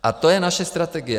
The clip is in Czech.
A to je naše strategie.